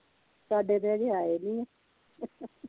ਸਾਡੇ ਤੇ ਅਜੇ ਆਏ ਨਹੀਂ ਆ